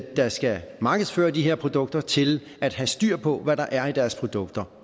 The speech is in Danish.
der skal markedsføre de her produkter til at have styr på hvad der er i deres produkter